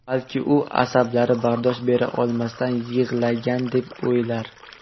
Balki, u asablari bardosh bera olmasdan yig‘lagan deb o‘ylar.